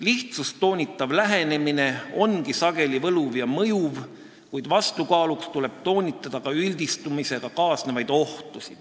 Lihtsust toonitav lähenemine ongi sageli võluv ja mõjuv, kuid vastukaaluks tuleb toonitada ka üldistamisega kaasnevaid ohtusid.